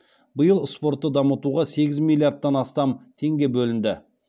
биыл спортты дамытуға сегіз миллиардтан астам теңге бөлінді